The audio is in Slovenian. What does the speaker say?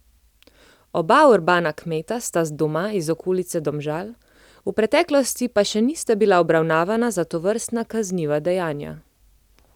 Oba urbana kmeta sta doma iz okolice Domžal, v preteklosti pa še nista bila obravnavana za tovrstna kazniva dejanja.